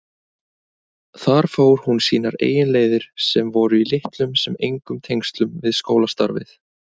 Þar fór hún sínar eigin leiðir sem voru í litlum sem engum tengslum við skólastarfið.